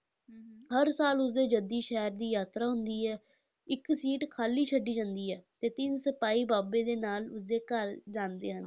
ਹਰ ਸਾਲ ਉਸਦੇ ਜੱਦੀ ਸ਼ਹਿਰ ਦੀ ਯਾਤਰਾ ਹੁੰਦੀ ਹੈ, ਇੱਕ ਸੀਟ ਖਾਲੀ ਛੱਡ ਦਿੱਤੀ ਜਾਂਦੀ ਹੈ ਅਤੇ ਤਿੰਨ ਸਿਪਾਹੀ ਬਾਬੇ ਦੇ ਨਾਲ ਉਸਦੇ ਘਰ ਜਾਂਦੇ ਹਨ।